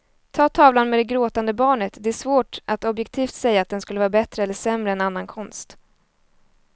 Ta tavlan med det gråtande barnet, det är svårt att objektivt säga att den skulle vara bättre eller sämre än annan konst.